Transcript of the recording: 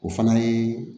O fana ye